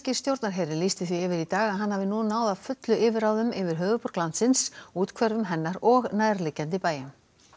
stjórnarherinn lýsti því yfir í dag að hann hafi nú náð að fullu yfirráðum yfir höfuðborg landsins úthverfum hennar og nærliggjandi bæjum